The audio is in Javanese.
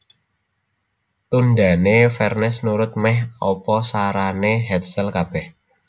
Tundhané Vernes nurut mèh apa sarané Hetzel kabèh